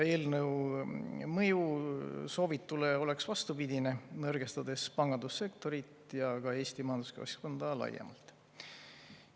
Eelnõu mõju oleks soovitule vastupidine, see nõrgestaks pangandussektorit ja ka Eesti majanduskeskkonda laiemalt.